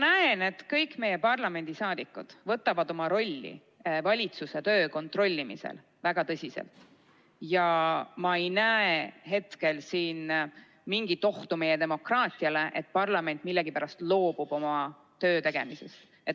Ma näen, et kõik meie parlamendiliikmed võtavad oma rolli valitsuse töö kontrollimisel väga tõsiselt, ja ma ei näe hetkel siin mingit ohtu meie demokraatiale või sellele, et parlament millegipärast loobub oma töö tegemisest.